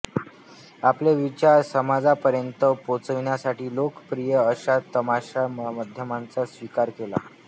आपले विचार समाजापर्यंत पोचविसाठी लोकप्रिय अशा तमाशा माध्यमाचा स्वीकार केला